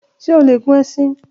Ṣe o le gun ẹṣin?